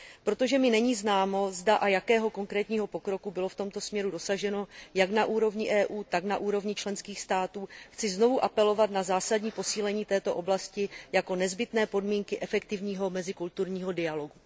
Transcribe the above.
Protože mi není známo, zda a jakého konkrétního pokroku bylo v tomto směru dosaženo jak na úrovni EU, tak na úrovni členských států, chci znovu apelovat na zásadní posílení této oblasti jako nezbytné podmínky efektivního mezikulturního dialogu.